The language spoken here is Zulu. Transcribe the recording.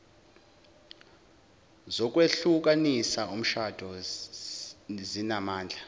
zokwehlukanisa umshado zinamandla